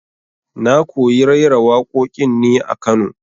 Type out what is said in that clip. Na koyi raira waƙoƙin ne a Kano